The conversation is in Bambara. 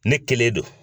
Ne kelen don